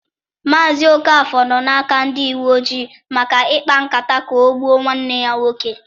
Mazị Okafor nọ n'aka ndị uwe ojii maka ịkpa nkata ka o gbuọ nwanne ya nwoke.